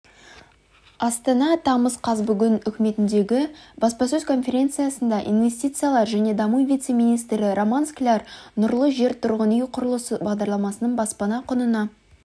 астана тамыз қаз бүгін үкіметіндегі баспасөз конференциясында инвестициялар және даму вице-министрі роман скляр нұрлы жер тұрғын үй құрылысы бағдарламасының баспана құнына